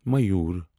Mayur